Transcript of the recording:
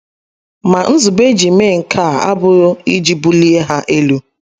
Ma nzube e ji mee nke a abụghị iji bulie ha elu..